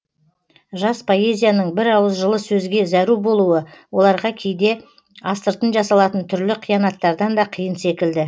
жас поэзияның бір ауыз жылы сөзге зәру болуы оларға кейде астыртын жасалатын түрлі қиянаттардан да қиын секілді